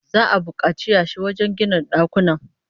Za'a bukaci yashi wajen gina dakunan